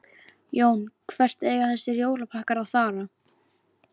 Jón: Hvert eiga þessir jólapakkar að fara?